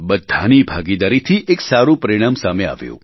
બધાની ભાગીદારીથી એક સારું પરિણામ સામે આવ્યું